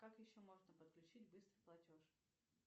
как еще можно подключить быстрый платеж